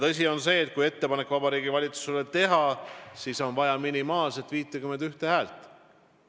Tõsi on see, et kui ettepanek Vabariigi Valitsusele teha, siis on vaja minimaalselt 51 häält.